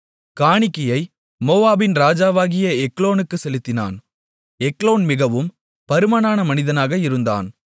காணிக்கையை மோவாபின் ராஜாவாகிய எக்லோனுக்குச் செலுத்தினான் எக்லோன் மிகவும் பருமனான மனிதனாக இருந்தான்